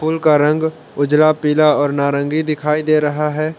फूल का रंग उजाला पीला और नारंगी दिखाई दे रहा हैं।